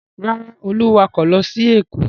Rárá, Olú wakọ̀ lọ sí Èkó.